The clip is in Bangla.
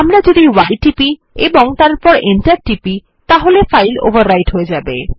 আমরা যদি y টিপি এবং তারপর Enter টিপি তাহলে ফাইল ওভাররাইট হয়ে যায়